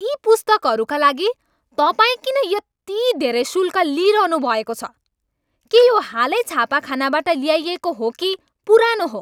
यी पुस्तकहरूका लागि तपाईँ किन यति धेरै शुल्क लिइरहनुभएको छ? के यो हालै छापाखानाबाट ल्याइएको हो कि पुरानो हो?